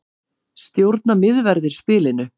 Stjórna miðverðir spilinu